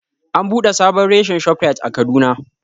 An buɗe sabon reshen Shoprite a Kaduna